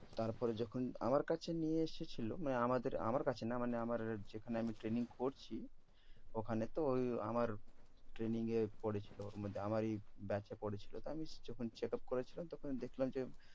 তারপরে যখন আমার কাছে নিয়ে এসেছিল মানে আমাদের আমার কাছে না মানে আমার যেখানে আমি training করছি ওখানে। তো ঐ আমার training এর পরেছিল আমারই batch এ পরেছিল। তো আমি যখন check up করেছিলাম তখন দেখলাম যে